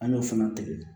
An y'o fana tigɛ